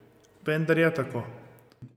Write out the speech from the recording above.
Vendar je tako.